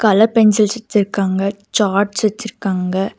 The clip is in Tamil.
கலர் பென்சில்ஸ் வச்சிருக்காங்க சார்ட்ஸ் வச்சிருக்காங்க.